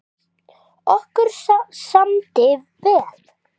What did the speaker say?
Okkur samdi vel.